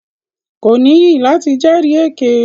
Ko níyì lati jẹri èké.